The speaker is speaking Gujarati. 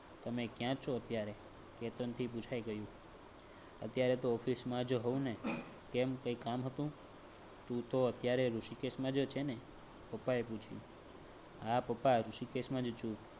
તમે ક્યાં છો? અત્યારે કેતન થી પુછાય ગયું અત્યારે તો office માં જ હોઉંને કેમ કે કઈ કામ હતું તું તો અત્યારે ઋષિકેશ માં જ છે ને? પાપા એ પુછ્યું હા પાપા ઋષિકેશ માંજ છું